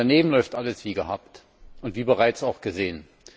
Daneben läuft alles wie gehabt und wie bereits auch gesehen.